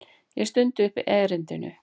Ég stundi upp erindinu.